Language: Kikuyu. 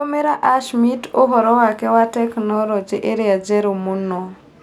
Tũmĩra Ashmit ũhoro wake wa tekinoronjĩ ĩrĩa njerũ mũno.